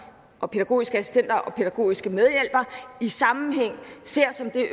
og de pædagogiske assistenter og pædagogiske medhjælpere i sammenhæng ser som det